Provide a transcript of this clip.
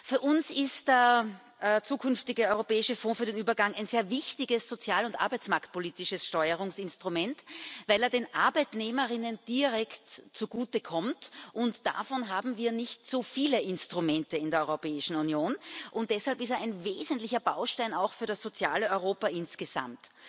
Für uns ist der zukünftige Europäische Fonds für den Übergang ein sehr wichtiges sozial und arbeitsmarktpolitisches Steuerungsinstrument, weil er den Arbeitnehmerinnen und Arbeitnehmern direkt zugutekommt, und davon haben wir nicht so viele Instrumente in der Europäischen Union. Deshalb ist er ein wesentlicher Baustein auch für das soziale Europa insgesamt.